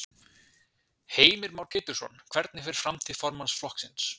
Heimir Már Pétursson: Hvernig fer framtíð formanns flokksins?